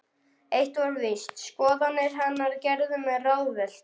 Eitt var víst: Skoðanir hennar gerðu mig ráðvillta.